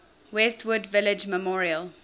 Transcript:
westwood village memorial